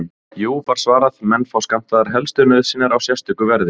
Jú, var svarað, menn fá skammtaðar helstu nauðsynjar á sérstöku verði.